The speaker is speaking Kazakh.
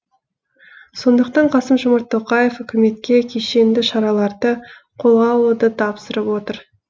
сондықтан қасым жомарт тоқаев үкіметке кешенді шараларды қолға алуды тапсырып отыр